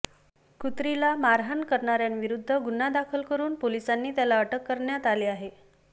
कुत्रीला मारहाण करणाऱ्याविरुद्ध गुन्हा दाखल करुन पोलिसांनी त्याला अटक करण्यात आले आहे